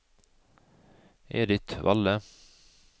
Edith Valle